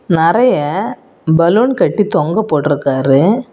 நெறைய பலூன் கட்டி தொங்க போட்டு இருக்காரு.